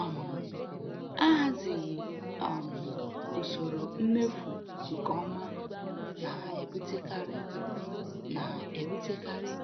um Ahazighị um usoro mmefu nke ọma na-ebutekarị na-ebutekarị